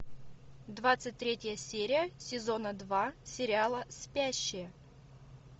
двадцать третья серия сезона два сериала спящие